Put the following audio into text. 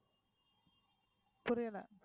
புரியல